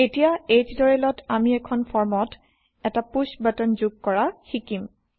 এতিয়া এই টিউটৰিয়েলত আমি এখন ফৰ্মত এটা পুশ্ব বাটন যোগ কৰা শিকিম